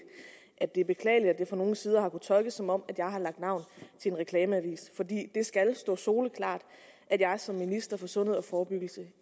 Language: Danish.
at det er beklageligt at det fra nogle sider har kunnet tolkes som om jeg har lagt navn til en reklameavis for det skal stå soleklart at jeg som minister for sundhed og forebyggelse